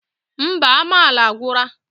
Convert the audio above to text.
Mba, amala agwura!